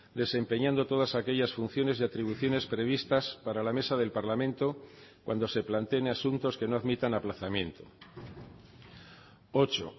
desempeñando todas aquellas funciones y atribuciones previstas para la mesa del parlamento cuando se planteen asuntos que no admitan aplazamiento ocho